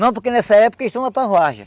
Não, porque nessa época eles estão lá para.